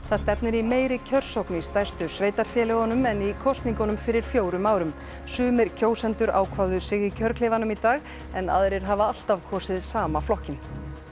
það stefnir í meiri kjörsókn í stærstu sveitarfélögunum en í kosningunum fyrir fjórum árum sumir kjósendur ákváðu sig í kjörklefanum í dag en aðrir hafa alltaf kosið sama flokkinn